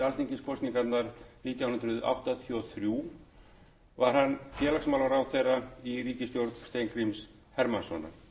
alþingiskosningarnar nítján hundruð áttatíu og þrjú varð hann félagsmálaráðherra í ríkisstjórn steingríms hermannssonar